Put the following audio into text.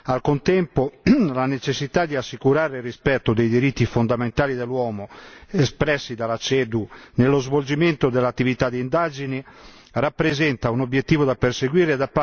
Al contempo, la necessità di assicurare il rispetto dei diritti fondamentali dell'uomo, espressi dalla CEDU, nello svolgimento delle attività di indagini rappresenta un obiettivo da perseguire.